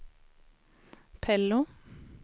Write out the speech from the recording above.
Pello